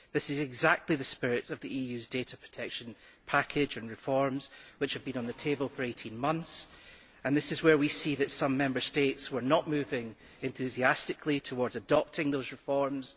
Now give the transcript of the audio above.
That is precisely the spirit of the EU's data protection package and of the reforms which have been on the table for 18 months. It is clear that some Member States were not moving enthusiastically towards adopting those reforms.